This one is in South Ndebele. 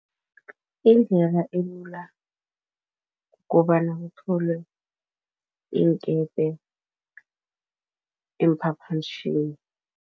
Indlela elula kukobana kutholwe iinkepe, iimphaphamtjhini.